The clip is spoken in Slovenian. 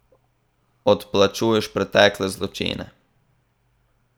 Odplačuješ pretekle zločine.